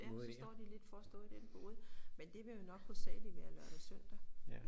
Ja så står de lidt for at stå i den bod men det vil jo nok hovedsageligt være lørdag søndag